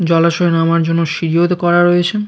জলাশয়ে নামার জন্য সিঁড়িও তো করা রয়েছে।